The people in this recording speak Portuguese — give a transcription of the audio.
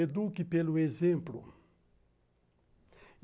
Eduque pelo exemplo.